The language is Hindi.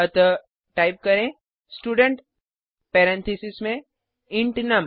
अतः टाइप करें स्टूडेंट पेरेंथीसेस में इंट नुम